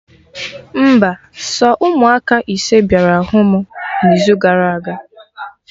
Mba, sọ ụmụaka ise bịara hụ mụ na izu gara aga